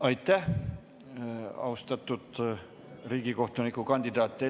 Aitäh, austatud riigikohtuniku kandidaat!